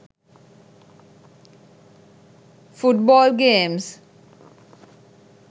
foot ball games